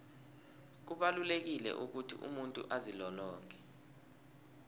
kubalulekile ukuthi umuntu azilolonge